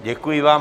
Děkuji vám.